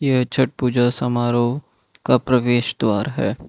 यह छठ पूजा समारोह का प्रवेश द्वार है।